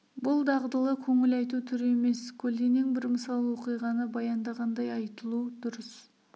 бұл дағдылы көңіл айту түрі емес көлденең бір мысал оқиғаны баяндағандай айтылу дұрыс